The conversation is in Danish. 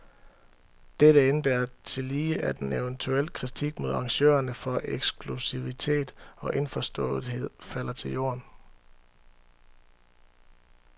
Dette indebærer tillige, at en eventuel kritik mod arrangørerne for eksklusivitet og indforståethed falder til jorden.